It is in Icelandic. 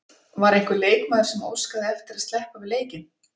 Var einhver leikmaður sem óskaði eftir að sleppa við leikinn?